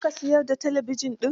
Za ka siyar da talabijin din?